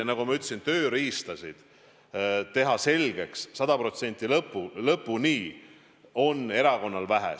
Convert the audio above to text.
Nagu ma ütlesin, neid n-ö tööriistu, millega teha asju selgeks sada protsenti ja lõpuni, on erakonnal vähe.